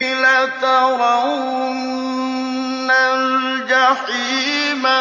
لَتَرَوُنَّ الْجَحِيمَ